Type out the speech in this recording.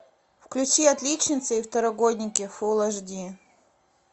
включи отличница и второгодники фул аш ди